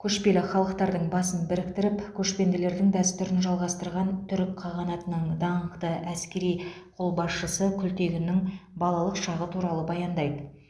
көшпелі халықтардың басын біріктіріп көшпенділердің дәстүрін жалғастырған түрік қағанатының даңқты әскери қолбасшысы күлтегіннің балалық шағы туралы баяндайды